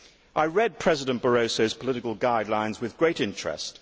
I read President Barroso's political guidelines with great interest.